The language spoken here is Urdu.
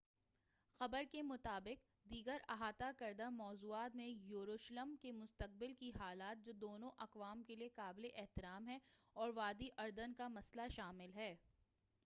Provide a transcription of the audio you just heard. خبر کے مطابق دیگر احاطہ کردہ موضوعات میں یروشلم کی مستقبل کی حالت جو دونوں اقوام کے لیے قابل احترام ہے اور وادی اردن کا مسئلہ شامل ہے